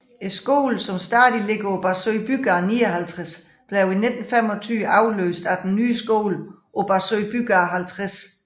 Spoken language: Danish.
Skolen som stadig ligger på Barsø Bygade 59 blev i 1925 afløst af den nye skole på Barsø Bygade 50